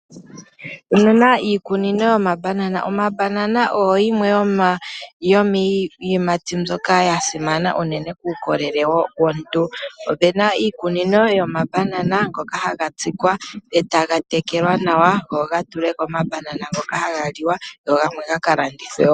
Omuna iikunino yomambanana. Omambanana oyo yimwe yomiiyimati mbyoka ya simana unene kuukolele womuntu. Opuna iikunino yomambanana ngoka haga tsikwa, e taga tekelwa nawa opo ga tule ko omambanana ngoka haga liwa, go gamwe gaka landithwe wo.